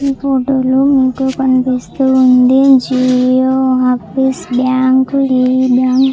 ఈ ఫోటో లో మీకు కనిపిస్తూ ఉంది జియో ఆఫీస్ బ్యాంకు ఈ బ్యాంక్ --